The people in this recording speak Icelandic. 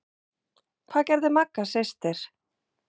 Hvað gerði Magga systir?